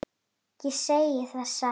Ég segi það satt.